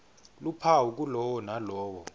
luphawu kulowo nalowo